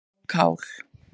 og kál.